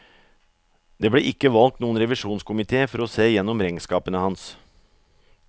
Det ble ikke valgt noen revisjonskomité for å se gjennom regnskapene hans.